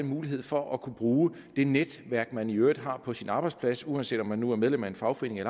mulighed for at kunne bruge det netværk man i øvrigt har på sin arbejdsplads så uanset om man nu er medlem af fagforeningen